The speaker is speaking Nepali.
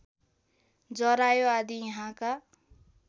जरायो आदि यहाँका